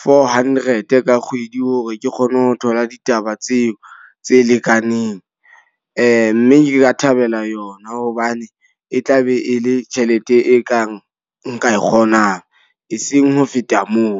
four hundred ka kgwedi. Hore ke kgone ho thola ditaba tseo tse lekaneng. Mme ke ka thabela yona hobane e tla be e le tjhelete e kang nka e kgonang. E seng ho feta moo.